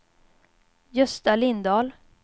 Gösta Lindahl